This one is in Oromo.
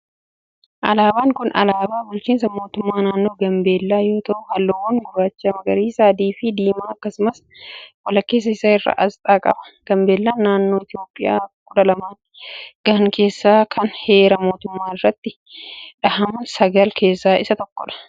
Alaabaan kun alaabaa bulchiinsa mootummaa naannoo Gaambellaa yoo ta'u, haalluuwwan gurraacha, magariisa, adii fi diimaa akkasumas walakkeessa isaa irraa asxaa qaba. Gaambellaan naannolee Itoophiyaa kudha laman gahan keessaa kan heera mootummaa irratti dhahaman sagalan keessaa isa tokko.